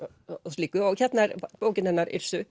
slíku og hérna er bókin hennar